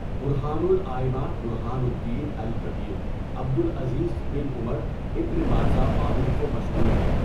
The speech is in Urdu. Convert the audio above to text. برہان الائمہ برہان الدين الكبير عبد العزیز بن عمر ابن مازہ معروف و مشہور ہیں.